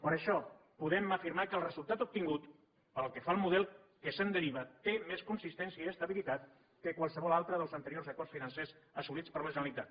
per això podem afirmar que el resultat obtingut pel que fa al model que se’n deriva té més consistència i estabilitat que qualsevol altre dels anteriors acords financers assolits per la generalitat